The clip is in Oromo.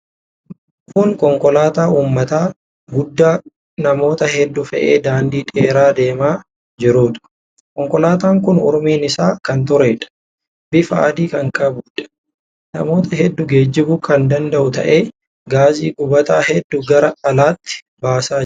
Kun konkolaataa uummataa guddaa namoota hedduu fe'ee daandii dheeraa deemaa jiruudha. Konkolaataan kun umuriin isaa kan tureedha. Bifa adii kan qabuudha. Namoota hedduu geejjibuu kan danda'u ta'ee, gaasii gubataa hedduu gara alaatti baasaa jira.